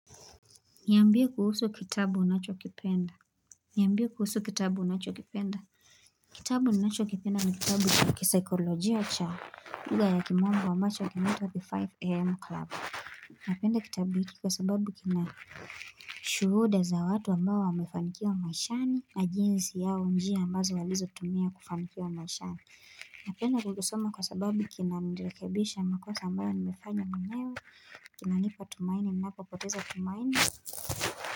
Niambie kuhusu kitabu unachokipenda. Niambia kuhusu kitabu unachokipenda. Kitabu ninachokipenda ni kitabu cha kisaikolojia cha. Lugha ya kimombo ambacho kinaitwa The 5am club. Napenda kitabu hiki kwa sababu kina shuhuda za watu ambao wamefanikiwa maishani. Na jinsi au njia ambazo walizotumia kufanikiwa maishani. Napenda kukisoma kwa sababu kina nirekebisha makosa ambayo nimefanya mwenyewe. Kinanipa tumaini ninapo poteza tumaini.